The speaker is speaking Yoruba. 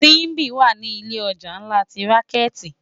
Simbi wá ni ilé òjá nlá ti rànkèti